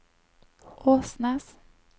Åsnes